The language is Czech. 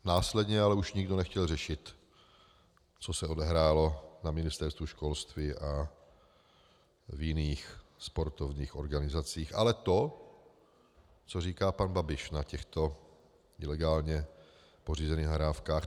Následně ale už nikdo nechtěl řešit, co se odehrálo na Ministerstvu školství a v jiných sportovních organizacích, ale to, co říká pan Babiš na těchto ilegálně pořízených nahrávkách.